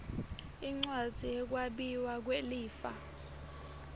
incwadzi yekwabiwa kwelifa